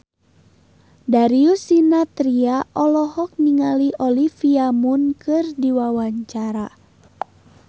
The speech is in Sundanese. Darius Sinathrya olohok ningali Olivia Munn keur diwawancara